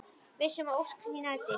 Viss um að ósk sín rætist.